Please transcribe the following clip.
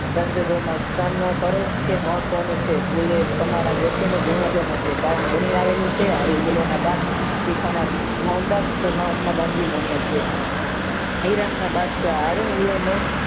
સંજોગોમાં સામનો કરો કે મહત્વનું છે બોલે તમારા વ્યક્તિને પુણ્યનો છે કારણ બનીને આવેલું છે આવી ભૂલોના પાપ